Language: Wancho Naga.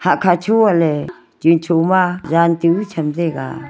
hakha cho aa ley chun choma jaan tu chamtaiga.